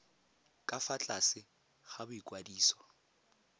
ka fa tlase ga boikwadiso